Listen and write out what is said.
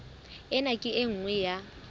ena ke e nngwe ya